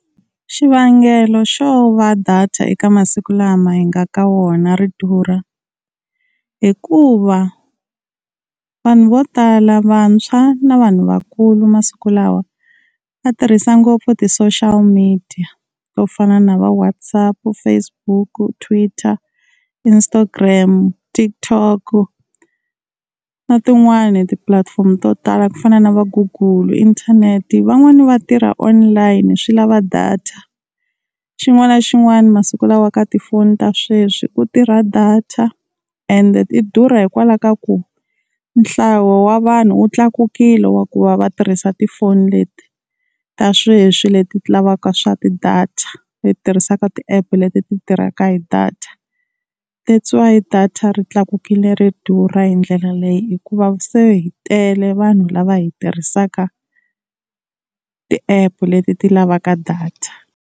Xivangelo xo va data eka masiku lama hi nga ka wona ri durha, hikuva vanhu vo tala vantshwa na vanhu vakulu masiku lawa va tirhisa ngopfu ti-social media, to fana na va WhatsApp, Facebook, Twitter, Instagram, TikTok na tin'wani tipulatifomo to tala ku fana na va google inthanete. Van'wani va tirha online swi lava data. Xin'wana na xin'wana masiku lawa ka tifoni ta sweswi ku tirha data ende ti durha hikwalaho ka ku nhlayo wa vanhu wu tlakukile wa ku va va tirhisa tifoni leti ta sweswi leti ti lavaka swa ti-data, leti tirhisaka ti-app leti ti tirhaka hi data. That's why data ri tlakukile ri durha hi ndlela leyi hikuva se hi tele vanhu lava hi tirhisaka ti-app leti ti lavaka data.